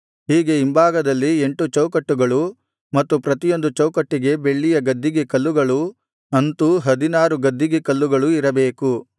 ಹೀಗೆ ಹಿಂಭಾಗದಲ್ಲಿ ಎಂಟು ಚೌಕಟ್ಟುಗಳೂ ಮತ್ತು ಪ್ರತಿಯೊಂದು ಚೌಕಟ್ಟಿಗೆ ಬೆಳ್ಳಿಯ ಗದ್ದಿಗೆ ಕಲ್ಲುಗಳೂ ಅಂತೂ ಹದಿನಾರು ಗದ್ದಿಗೆ ಕಲ್ಲುಗಳು ಇರಬೇಕು